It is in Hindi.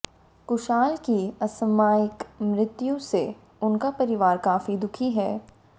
कुशाल की असामयिक मृत्यु से उनका परिवार काफी दुखी है